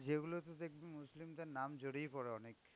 যেগুলো তুই দেখবি মুসলিমদের নাম জড়িয়ে পরে অনেকে